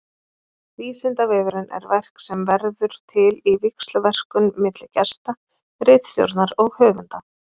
Vísindavefurinn er verk sem verður til í víxlverkun milli gesta, ritstjórnar og höfunda.